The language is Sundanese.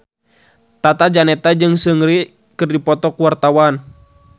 Tata Janeta jeung Seungri keur dipoto ku wartawan